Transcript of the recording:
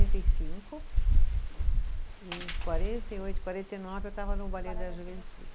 e cinco, e em quarenta e oito, quarenta e nove, eu estava no da Juventude.